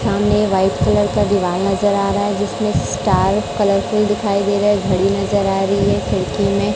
सामने white colour का दीवाल नजर आ रहा है जिसमें स्टार कलरफुल दिखाई दे रहा है घड़ी नजर आ रही है खिड़की में।